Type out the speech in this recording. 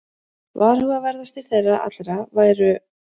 Varhugaverðastir þeirra allra væru